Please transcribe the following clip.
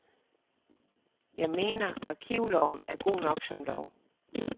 Jeg mener, arkivloven er god nok som lov.